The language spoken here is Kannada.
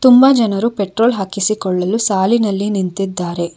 ತುಂಬಾ ಜನರು ಪೆಟ್ರೋಲ್ ಹಾಕಿಸಿಕೊಳ್ಳಲು ಸಾಲಿನಲ್ಲಿ ನಿಂತಿದ್ದಾರೆ.